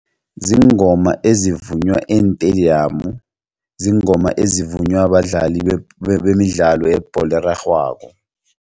Ziingoma ezivunywa eentediyamu ziingoma ezivunywa badlali bemidlalo yebholo erarhwako.